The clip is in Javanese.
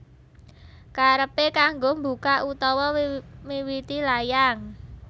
Karepe kanggo mbukak utawa miwiti layang